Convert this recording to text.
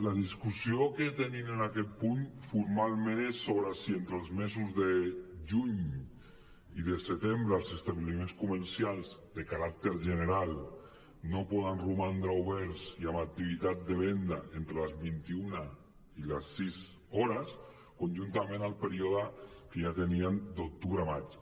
la discussió que tenim en aquest punt formalment és sobre si entre els mesos de juny i de setembre els establiments comercials de caràcter general no poden romandre oberts i amb activitat de venda entre les vint·i·una i les sis hores conjuntament al període que ja teníem d’octubre a maig